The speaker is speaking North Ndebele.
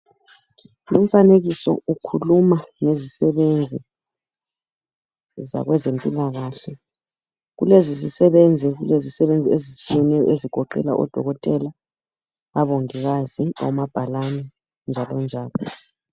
Lumfanekiso ukhuluma ngezisebenzi zabezempilaklahle. Kulezi zisebenzi kulezisebenzi ezitshiyeneyo ezigoqela odokotela, abongikazi, omabhalani njalo njalo.